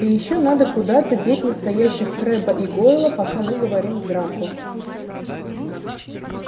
и ещё надо куда-то деть настоящих крэбба и гойла пока мы говорим с драко